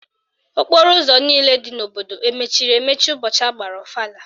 Okporo ụzọ niile dị n'obodo emechiri emechi ụbọchị agbara ọfala?